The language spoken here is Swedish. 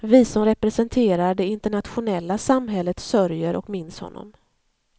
Vi som representerar det internationella samhället sörjer och minns honom.